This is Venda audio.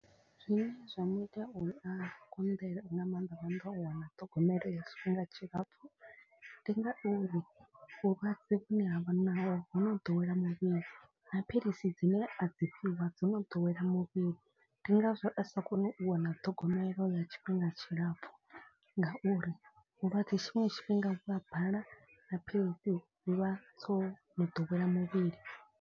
Zwine zwa mu ita u a konḓelwe nga maanḓa maanḓa o wana ṱhogomelo ya tshifhinga tshilapfu. Ndi ngauri vhulwadze vhune ha vha naho ho no ḓowela muvhili na philisi dzine a dzi fhiwa dzi no ḓowela muvhili. Ndi ngazwo a sa koni u wana ṱhogomelo ya tshifhinga tshilapfhu. Ngauri vhulwadze tshiṅwe tshifhinga vhu a bala na philisi dzi vha dzo no ḓowela muvhili.